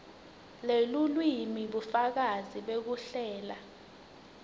lelulwimi bufakazi bekuhlela